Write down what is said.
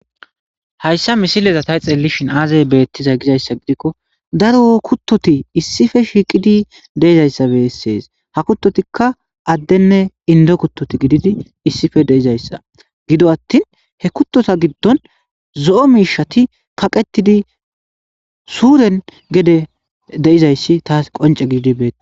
Hayssa misileza tay xeellishin aazay beettiza gizayssa gidikko daro kuttoti issife shiiqidi deizayssabe essees ha kuttotikka addenne indo kuttoti gididi issife deizayssa gido attin he kuttota giddon zo7o miishati kaqettidi suuren gede deizayssi taas qonce gididi bea.